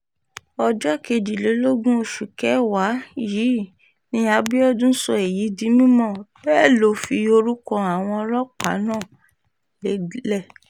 ọjọ́ kejìlélógún oṣù kẹwàá yìí ní abiodun sọ èyí di mímọ̀ bẹ́ẹ̀ ló fi orúkọ àwọn ọlọ́pàá náà lédè